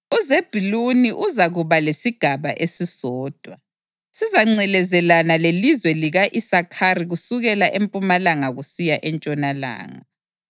UZebhuluni uzakuba lesigaba esisodwa; sizangcelezelana lelizwe lika-Isakhari kusukela empumalanga kusiya entshonalanga.